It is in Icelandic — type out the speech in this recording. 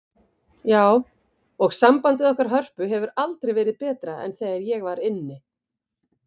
Já, og sambandið okkar Hörpu hefur aldrei verið betra en þegar ég var inni.